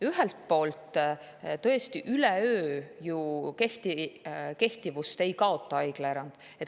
Ühelt poolt tõesti, üleöö ju haiglaerand kehtivust ei kaota.